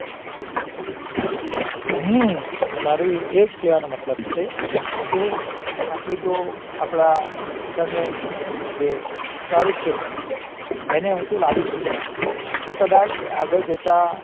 હા મારો એજ કેવાનો મતલભ છે કે આપણે જો આપડા શિક્ષણ નું જે સ્તર એને ઉંચો લાવસો તો કદાચ આગળ જતા